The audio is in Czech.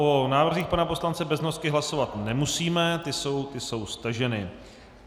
O návrzích pana poslance Beznosky hlasovat nemusíme, ty jsou staženy.